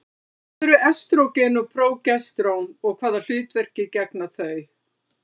Hvað eru estrógen og prógesterón og hvaða hlutverki gegna þau?